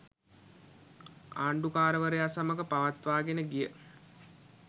ආණ්ඩුකාරවරයා සමඟ පවත්වාගෙන ගිය